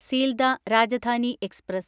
Sealdah Rajdhani express